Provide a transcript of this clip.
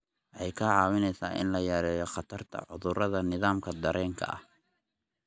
Waxay kaa caawinaysaa in la yareeyo khatarta cudurrada nidaamka dareenka.